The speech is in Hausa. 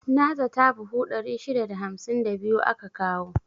Na zata buhu 652 aka kawo.